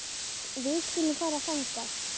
Við skulum fara þangað.